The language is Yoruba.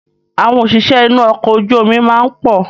Àwọn òṣìṣẹ́ inú ọkọ̀ ojú omi máa ń pọ̀